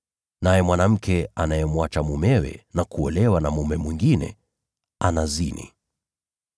Naye mwanamke amwachaye mumewe na kuolewa na mume mwingine, anazini.”